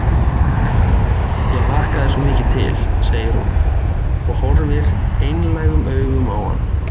Æ, æ, ég hlakkaði svo mikið til, segir hún og horfir einlægum augum á hann.